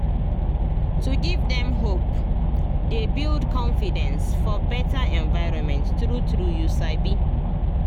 to give dem hope dey build confidence for better environment true true you sabi